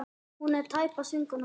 Hún er tæpast vinkona mín.